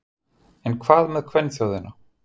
En hvað með kvenþjóðina?